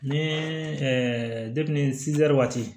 Ni waati